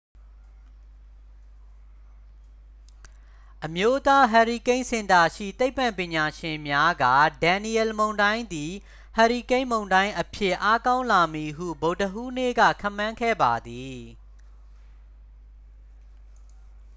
အမျိုးသားဟာရီကိန်းစင်တာရှိ သိပ္ပံပညာရှင်များက ဒန်နီယယ်လ် မုန်တိုင်းသည် ဟာရီကိန်းမုန်တိုင်းအဖြစ် အားကောင်းလာမည်ဟု ဗုဒ္ဓဟူးနေ့က ခန့်မှန်းခဲ့ပါသည်